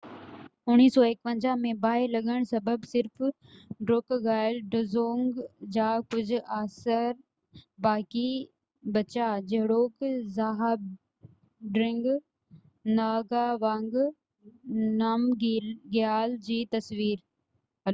1951 ۾ باهه لڳن سبب صرف ڊروڪگائل ڊزونگ جا ڪجهه آثر باقي بچيا جهڙوڪ زهابڊرنگ ناگاوانگ نامگيال جي تصوير